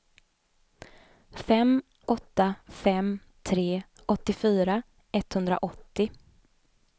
fem åtta fem tre åttiofyra etthundraåttio